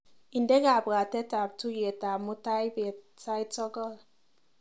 Inde kabwatetab tuiyetab mutaibet sait sokol.